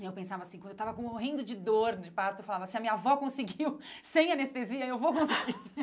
Eu pensava assim, quando eu estava com morrendo de dor de parto, falava assim, a minha avó conseguiu sem anestesia, eu vou conseguir.